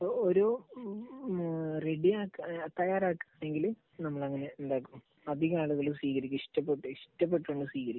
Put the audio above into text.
ഒരു റെഡിയാക്ക്, തയ്യാറാക്കാൻ അല്ലെങ്കിൽ നമ്മൾ അങ്ങനെ ഉണ്ടാക്കുമ്പോൾ അധികം ആളുകളും സ്വീകരിക്കും, ഇഷ്ടപ്പെട്ട്, ഇഷ്ടപ്പെട്ടു തന്നെ സ്വീകരിക്കും.